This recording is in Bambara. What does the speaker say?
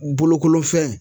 Bolokolofɛn